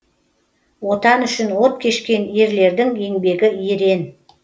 отан үшін от кешкен ерлердің еңбегі ерен